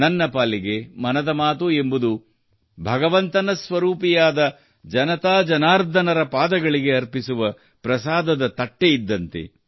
ನನ್ನ ಪಾಲಿಗೆ ಮನದ ಮಾತು ಎಂಬುದು ಭಗವಂತನ ಸ್ವರೂಪಿಯಾದ ಜನತಾ ಜನಾರ್ಧನನ ಪಾದಗಳಿಗೆ ಅರ್ಪಿಸುವ ಪ್ರಸಾದದ ತಟ್ಟೆ ಇದ್ದಂತೆ